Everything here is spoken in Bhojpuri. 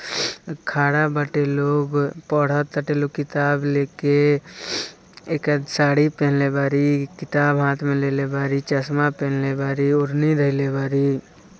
खड़ा बाटे लोग पढ़त किताब लेके एका साड़ी पहनेले बारी किताब हाथ में लेले बारी चश्मा पहनेले बारी ओढ़नी धइले बारी|